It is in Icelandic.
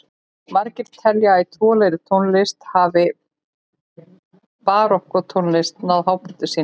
Margir telja að í trúarlegri tónlist hans hafi barokktónlist náð hápunkti sínum.